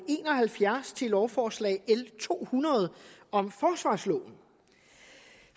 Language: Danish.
en og halvfjerds til lovforslag l to hundrede om forsvarsloven